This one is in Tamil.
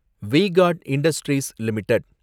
we Guard industries limited